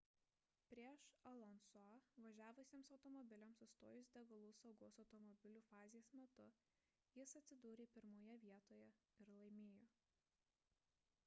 prieš alonso'ą važiavusiems automobiliams sustojus degalų saugos automobilio fazės metu jis atsidūrė pirmoje vietoje ir laimėjo